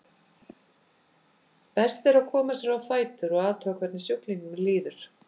Best að koma sér á fætur og athuga hvernig sjúklingnum líður.